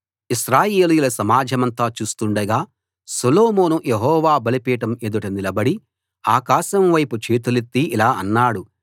ఇశ్రాయేలీయుల సమాజమంతా చూస్తుండగా సొలొమోను యెహోవా బలిపీఠం ఎదుట నిలబడి ఆకాశం వైపు చేతులెత్తి ఇలా అన్నాడు